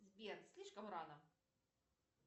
сбер слишком рано